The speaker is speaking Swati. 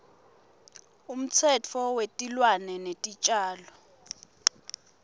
umtsetfo wetilwane netitjalo